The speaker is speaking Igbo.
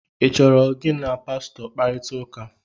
ị chọrọ gị na Pastọ kparịta ụka?